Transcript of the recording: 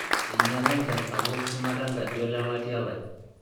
Einyala enchan sapuk shumata enkaji olelatia lai.